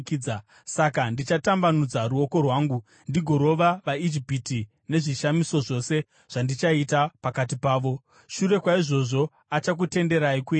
Saka ndichatambanudza ruoko rwangu ndigorova vaIjipiti nezvishamiso zvose zvandichaita pakati pavo. Shure kwaizvozvo achakutenderai kuenda.